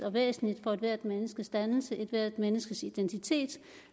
og væsentligt for ethvert menneskes dannelse ethvert menneskes identitet